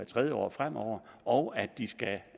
tredje år fremover og at de skal